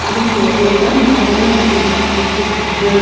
இதுக்கு இடையில மாடுகள் நெறைய மேய்ந்துகிட்டு இருக்கு.